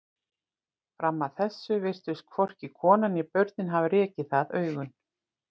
Fram að þessu virtust hvorki konan né börnin hafa rekið í það augun.